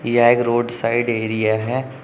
यह एक road side area है।